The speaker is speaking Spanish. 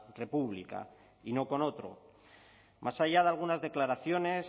república y no con otro más allá de algunas declaraciones